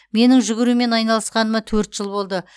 менің жүгірумен айналысқаныма төрт жыл болды